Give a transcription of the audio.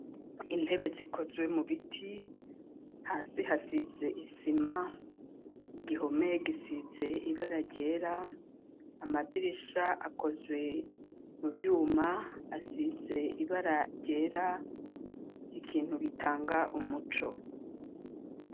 Intebe, zikozwe mu biti, hasi hasize isima, igihome gisize ibara ryera, amadirisha akozwe mu vyuma, asize ibara ryera, ikintu gitanga umuco.